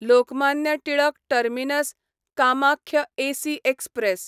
Lokmanya Tilak terminus Kamakhya AC express